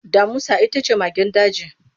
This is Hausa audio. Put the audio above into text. Damusa ita ce magen daji.